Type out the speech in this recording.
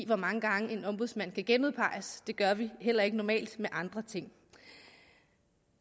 hvor mange gange en ombudsmand kan genudpeges det gør vi heller ikke normalt med andre ting